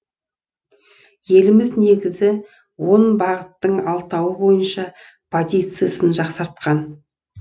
еліміз негізгі он бағыттың алтауы бойынша позициясын жақсартқан